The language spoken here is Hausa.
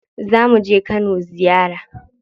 Zamu je Kano ziyara.